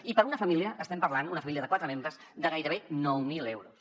i per a una família estem parlant una família de quatre membres de gairebé nou mil euros